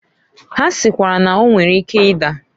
Ha sikwara na- o nwere ike ida.